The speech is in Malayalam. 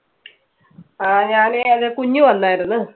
ആ, ഞാനേ അത് കുഞ്ഞ് വന്നായിരന്ന്